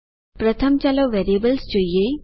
પ્રથમ ચાલો વેરિયેબલ્સ જોઈએ